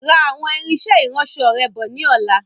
Ra àwọn irinsẹ́ ìránsọ rẹ bọ̀ ni ọ̀la.